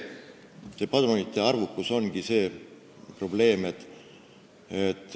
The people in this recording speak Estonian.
Padrunite arv on probleem.